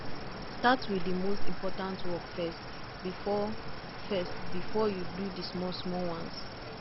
start with the most important work first before first before you do the smallsmall ones